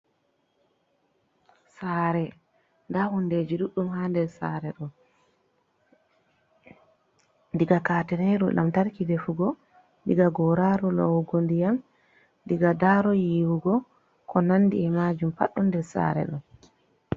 Sare: Nda hundeji ɗuɗɗum ha nder sare ɗo. diga katineru lamtarki defugo, diga goraru lowugo ndiyam, diga daro yiwugo ko nandi e'majum. Pad ɗo nder sare ɗo.